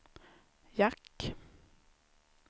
jack